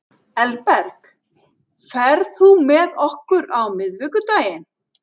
Elberg, ferð þú með okkur á miðvikudaginn?